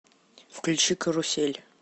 включи карусель